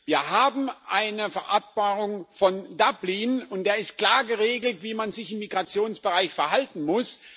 Wir haben eine Vereinbarung von Dublin, und da ist klar geregelt, wie man sich im Migrationsbereich verhalten muss.